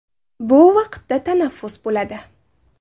Bu vaqtda tanaffus bo‘ladi.